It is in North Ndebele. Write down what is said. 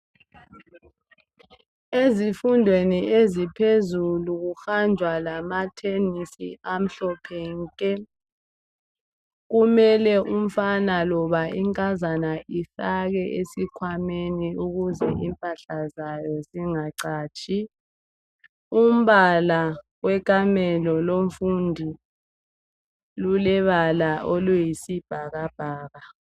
Ezifundweni eziphezulu kuhanjwa lamathenesi amhlophe nke, kumele umfana loba inkazana ifake esikhwameni ukuze impahla zayo zingacatshi. Umbala wekamelo lomfundi lulebala oluyi sibhakabhaka.